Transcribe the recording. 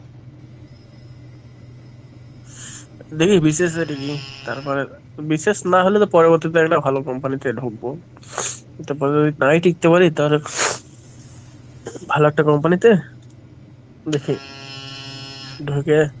দেখি BCS rating কি? তারপরে BCS না হলে তো পরবর্তীতে একটা ভালো company তে ঢুকবো এটা পরে যদি নাই টিকতে পারি তাহলে ভালো একটা company তে দেখে ঢুকে,